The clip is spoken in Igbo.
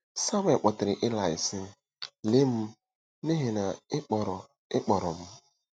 Samuel kpọtere Ilaị, sị: “Lee m, n'ihi na ị kpọrọ ị kpọrọ m.